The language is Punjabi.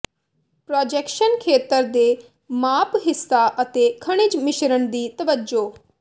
ਪ੍ਰਾਜੈਕਸ਼ਨ ਖੇਤਰ ਦੇ ਮਾਪ ਹਿੱਸਾ ਅਤੇ ਖਣਿਜ ਮਿਸ਼ਰਣ ਦੀ ਤਵੱਜੋ